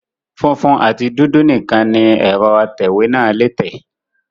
Funfun àti dúdú nìkan ni ẹ̀rọ atẹ ìwé náà lé tẹ̀